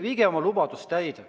Viige oma lubadus täide.